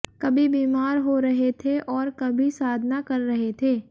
कभी बीमार हो रहे थे और कभी साधना कर रहे थे